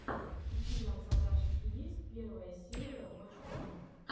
у тебя в загашнике есть первая серия воч он